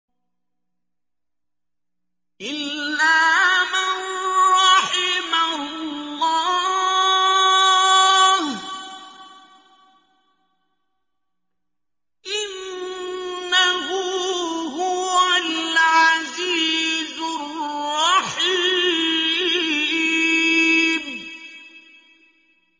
إِلَّا مَن رَّحِمَ اللَّهُ ۚ إِنَّهُ هُوَ الْعَزِيزُ الرَّحِيمُ